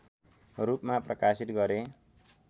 रूपमा प्रकाशित गरे